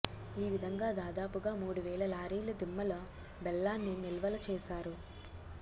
ఈ విధంగా దాదాపుగా మూడువేల లారీల దిమ్మల బెల్లాన్ని నిల్వలు వేశారు